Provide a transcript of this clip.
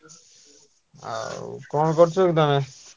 ଆଉ କଣ କରୁଛ କି ତମେ?